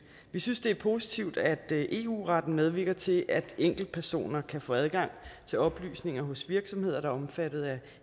vi synes det er positivt at eu retten medvirker til at enkeltpersoner kan få adgang til oplysninger hos virksomheder der er omfattet af